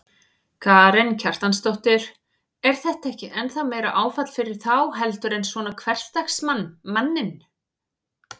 Karen Kjartansdóttir: Er þetta ekki ennþá meira áfall fyrir þá heldur en svona hversdagsmann, manninn?